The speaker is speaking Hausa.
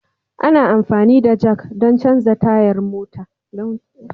Ana amfani da Jack don canza motar Taya.